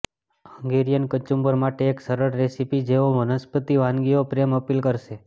Hungarian કચુંબર માટે એક સરળ રેસીપી જેઓ વનસ્પતિ વાનગીઓ પ્રેમ અપીલ કરશે